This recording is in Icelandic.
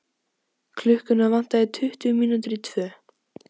Klukkuna vantaði tuttugu mínútur í tvö.